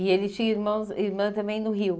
E ele tinha irmãos irmã também no Rio?